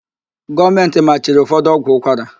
Gọọmentị machiri ụfọdụ ọgwụ ụkwara.